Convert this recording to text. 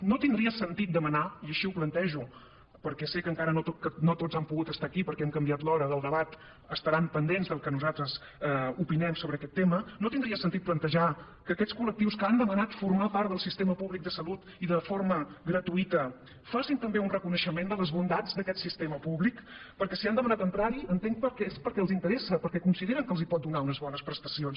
no tindria sentit demanar i així ho plantejo perquè sé que encara que no tots han pogut estar aquí perquè hem canviat l’hora del debat estaran pendents del que nosaltres opinem sobre aquest tema no tindria sentit plantejar que aquests col·lectius que han demanat formar part del sistema públic de salut i de forma gratuïta facin també un reconeixement de les bondats d’aquest sistema públic perquè si han demanat entrarhi entenc que és perquè els interessa perquè consideren que els pot donar unes bones prestacions